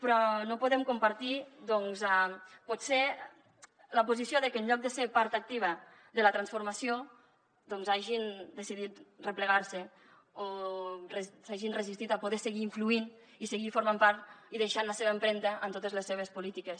però no podem compartir potser la posició que en lloc de ser part activa de la transformació hagin decidit replegar se o s’hagin resistit a poder seguir influint i seguir formant part i deixant la seva empremta en totes les seves polítiques